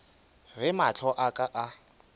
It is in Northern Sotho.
ge mahlo a ka a